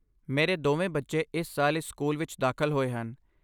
ਮੇਰੇ ਦੋਵੇਂ ਬੱਚੇ ਇਸ ਸਾਲ ਇਸ ਸਕੂਲ ਵਿੱਚ ਦਾਖਲ ਹੋਏ ਹਨ।